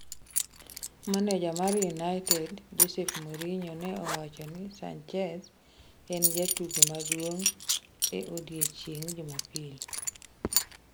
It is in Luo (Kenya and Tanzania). Maneja mar United, Jose Mourinho, ne owacho ni Sanchez en jatugo maduong' e odiechieng' Jumapil.